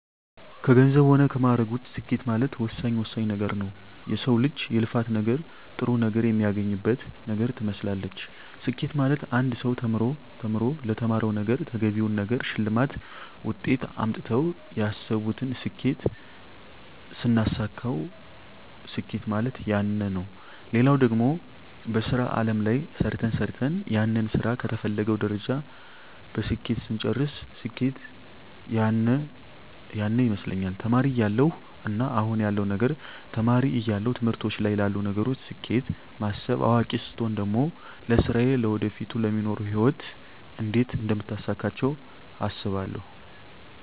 ከገንዘብ ሆነ ከማእረግ ውጭ ስኬት ማለት ወሳኝ ወሳኝ ነገረ ነዉ የሰው ልጅ የልፋት ነገር ጥሩ ነገር የሚያገኝበት ነገር ትመስላለች ስኬት ማለት አንድ ሰው ተምሮ ተምሮ ለተማረዉ ነገረ ተገቢውን ነገር ሸልማት ውጤት አምጥተው ያሰብቱን ስኬት ስናሳካዉ ስኬት ማለት ያነ ነዉ ሌላው ደግሞ በሥራ አለም ላይ ሰርተ ሰርተን ያንን ስራ ከተፈለገዉ ደረጃ በስኬት ስንጨርስ ስኬት ያነ ይመስለኛል ተማሪ እያለው እና አሁን ያለዉ ነገር ተማሪ እያለው ትምህርቶች ላይ ላሉ ነገሮች ስኬት ማስብ አዋቂ ስቾን ደግሞ ለስራየ ለወደፊቱ ለሚኖሩ ህይወት እንዴት አደምታሳካቸው አስባለሁ